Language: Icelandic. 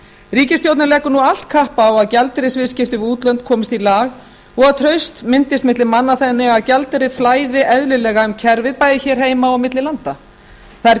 ríkisstjórnin leggur nú allt kapp á að gjaldeyrisviðskipti við útlönd komist í lag og að traust myndist milli manna þannig að gjaldeyrir flæði eðlilega um kerfið bæði hér heima og á milli landa það er